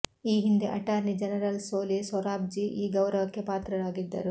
ಈ ಹಿಂದೆ attorney general Soli Sorabjee ಈ ಗೌರವಕ್ಕೆ ಪಾತ್ರರಾಗಿದ್ದರು